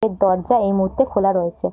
এই দরজা এই মুহূর্তে খোলা রয়েছে।